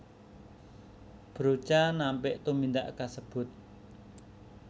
Broca nampik tumindak kasebut